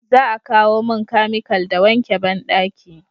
za a kawo mun kamikal da wanke banɗaki